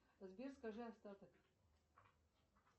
сбер скажи остаток